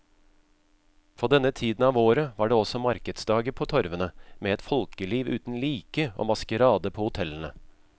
På denne tiden av året var det også markedsdager på torvene, med et folkeliv uten like og maskerade på hotellene.